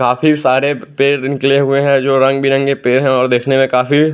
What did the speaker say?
काफी सारे पेड़ निकले हुए हैं जो रंग बिरंगे पेड़ हैं और देखने में काफी--